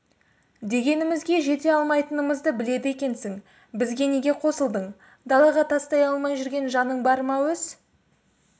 дегенімізге жете алмайтынымызды біледі екенсің бізге неге қосылдың далаға тастай алмай жүрген жаның бар ма өз